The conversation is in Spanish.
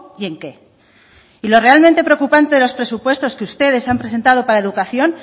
y en qué y lo realmente preocupante de los presupuestos que ustedes han presentado para educación